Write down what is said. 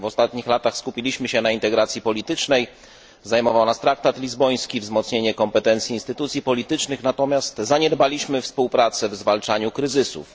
W ostatnich latach skupiliśmy się na integracji politycznej, zajmował nas traktat lizboński, wzmocnienie kompetencji instytucji politycznych, natomiast zaniedbaliśmy współpracę w zwalczaniu kryzysów.